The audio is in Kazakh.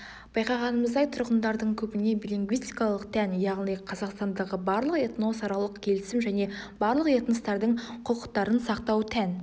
байқағанымыздай тұрғындардың көбіне билингвистикалық тән яғни қазақстандағы барлық этносаралық келісім және барлық этностардың құқықтарын сақтау тән